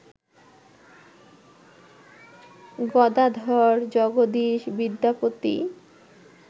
Gadadhar, Jagadish, Vidyapati